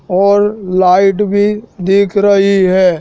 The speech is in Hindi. और लाइट भी दिख रही है।